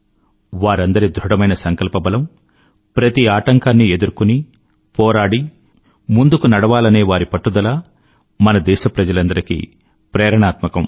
వారందరి ధృఢమైన సంకల్పబలం ప్రతి ఆటంకాన్ని ఎదుర్కొని పోరాడి ముందుకు నడవాలనే వారి పట్టుదల మన దేశప్రజలందరికీ ప్రేరణాత్మకం